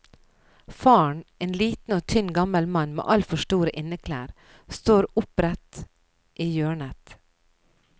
Faren, en liten og tynn gammel mann med altfor store inneklær, står opprett i hjørnet.